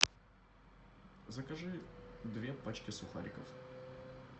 закажи две пачки сухариков